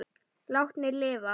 Látnir lifa